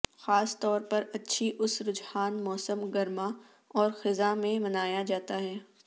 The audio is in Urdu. خاص طور پر اچھی اس رجحان موسم گرما اور خزاں میں منایا جاتا ہے